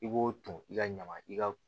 I b'o ton i ka ɲaman i ka